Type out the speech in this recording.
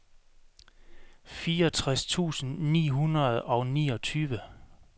fireogtres tusind ni hundrede og niogtyve